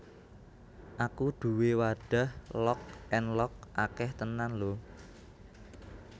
Aku duwe wadah Lock and Lock akeh tenan lho